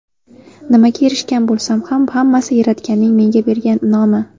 Nimaga erishgan bo‘lsam ham, hammasi Yaratganning menga bergan in’omi.